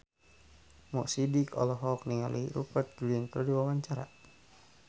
Mo Sidik olohok ningali Rupert Grin keur diwawancara